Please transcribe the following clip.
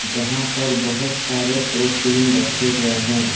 जहां पर बहुत सारे प्रोटीन रखे गए हैं ।